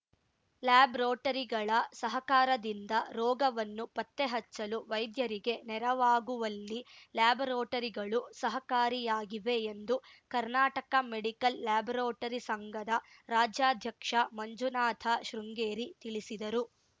ಲ್ಯಾಬ್‌ರೋಟರಿಗಳ ಸಹಕಾರದಿಂದ ರೋಗವನ್ನು ಪತ್ತೆ ಹಚ್ಚಲು ವೈದ್ಯರಿಗೆ ನೆರವಾಗುವಲ್ಲಿ ಲ್ಯಾಬರೋಟರಿಗಳು ಸಹಕಾರಿಯಾಗಿವೆ ಎಂದು ಕರ್ನಾಟಕ ಮೆಡಿಕಲ್‌ ಲ್ಯಾಬರೋಟರಿ ಸಂಘದ ರಾಜ್ಯಾಧ್ಯಕ್ಷ ಮಂಜುನಾಥಶೃಂಗೇರಿ ತಿಳಿಸಿದರು